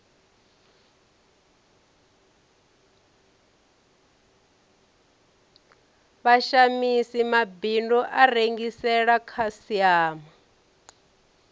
vhashamisi mabindu a rengisela khasiama